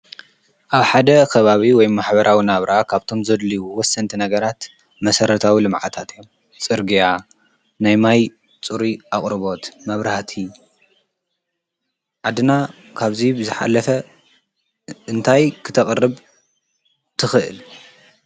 ኣብ ሓትኽእልብ ወይ ማኅበራዊ ናብራኣ ካብቶም ዘድልዉ ወስንቲ ነገራት መሠረታዊ ልመዓታት እዮ ጽርግያ ናይማይ ጽሪ ኣቕርቦት መብራሃቲ ኣድና ካብዙይ ብዘኃለፈ እንታይ ክተቐርብ ትኽእል።